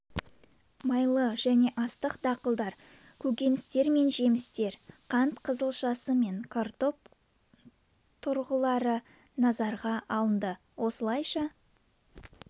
майлы және астық дақылдар көкөністер мен жемістер қант қызылшасы мен картоп тұрғылары назарға алынды осылайша